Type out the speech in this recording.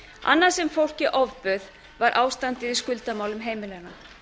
annað sem fólki ofbauð var ástandið í skuldamálum heimilanna